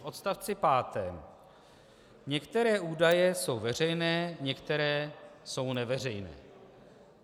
V odstavci pátém - některé údaje jsou veřejné, některé jsou neveřejné.